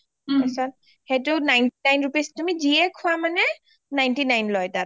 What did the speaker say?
পিছত সেইটো ninety nine rupees তুমি যিয়ে খোৱা মানে ninety nine লয় তাত